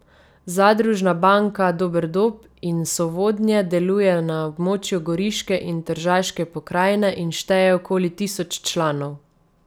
Zadružna banka Doberdob in Sovodnje deluje na območju goriške in tržaške pokrajine in šteje okoli tisoč članov.